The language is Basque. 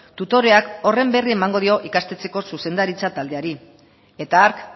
tutoreak horren berri emango dio ikastetxeko zuzendaritza taldeari eta hark